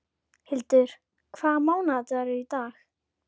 Hildur, hvaða mánaðardagur er í dag?